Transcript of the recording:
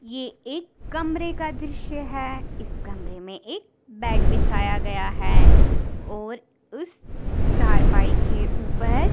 - यह एक कमरे का दृश्य है इस कमरे में एक बेड बिछाया गया है और स चार पाई के उपर--